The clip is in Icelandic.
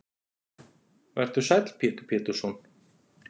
Vertu sæll Pétur Pétursson.